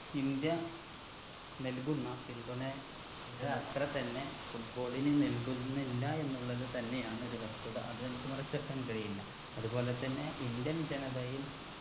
India നൽകുന്ന പിന്തുണയുടെ അത്ര തന്നെ football ന് നൽകുന്നില്ല എന്നുള്ളത് തന്നെയാണ് ഒരു വസ്തുത അത് നമുക്ക് മറച്ചു വെക്കാൻ കഴിയില്ല അത് പോലെത്തന്നെ indian ജനതയിൽ